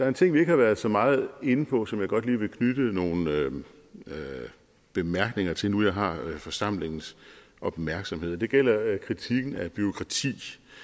en ting vi ikke har været så meget inde på og som jeg godt lige vil knytte nogle bemærkninger til nu jeg har forsamlingens opmærksomhed det gælder kritikken af bureaukrati